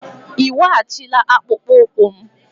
Ị weghachila akpụkpọ ụkwụ m?